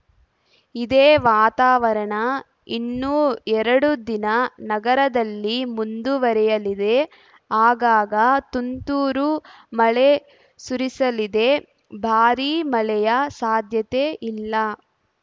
ಇದೇ ವಾತಾವರಣ ಇನ್ನೂ ಎರಡು ದಿನ ನಗರದಲ್ಲಿ ಮುಂದುವರೆಯಲಿದೆ ಆಗಾಗ ತುಂತುರು ಮಳೆ ಸುರಿಸಲಿದೆ ಭಾರೀ ಮಳೆಯ ಸಾಧ್ಯತೆ ಇಲ್ಲ